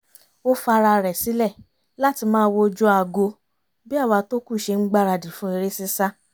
ó fa ara rẹ̀ sílẹ̀ láti máa wojú aago bí àwa tó kù ṣe ń gbáradì fún eré sísá